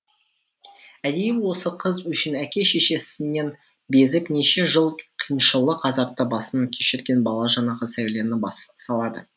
әдейі осы қыз үшін әке шешесінен безіп неше жыл қиыншылық азапты басынан кешірген бала жанағы сәулені бас салады